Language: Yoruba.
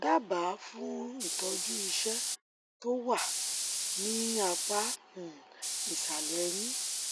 dábàá fún ìtọjú ìṣẹ́ tó wà ní apá um ìsàlẹ ẹyìn